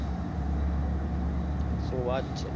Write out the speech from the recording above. શું વાત છે?